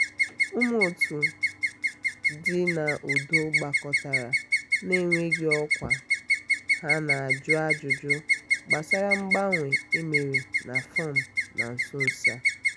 ụmụ otu dị n’udo gbakọtara na-enweghị ọkwa ha na-ajụ ajụjụ gbasara mgbanwe e mere na fọm na nso nso a.